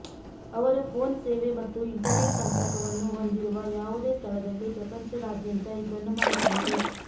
ಅವರು ಫೋನ್ ಸೇವೆ ಮತ್ತು ಇಂಟರ್ನೆಟ್ ಸಂಪರ್ಕವನ್ನು ಹೊಂದಿರುವ ಯಾವುದೇ ಸ್ಥಳದಲ್ಲಿ ಪ್ರಪಂಚದಾದ್ಯಂತ ಇದನ್ನು ಮಾಡಬಹುದು